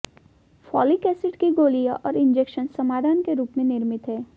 folic acid की गोलियां और इंजेक्शन समाधान के रूप में निर्मित है